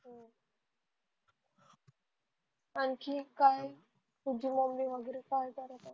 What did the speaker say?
आणखी काय तुझी मम्मी वगेरे काय करत आहे